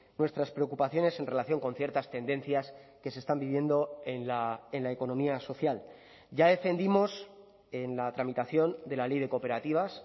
nuestras preocupaciones en relación con ciertas tendencias que se están viviendo en la economía social ya defendimos en la tramitación de la ley de cooperativas